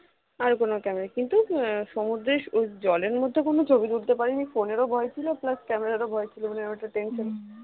আর কোন camera কিন্তু সমুদ্রের জলের মধ্যে কোন ছবি তুলতে পারিনি phone এরও ভয় ছিল plus camera র ভয় ছিল মানে একটা tension